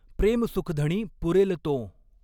प्रेमसुखधणी पुरेल तों।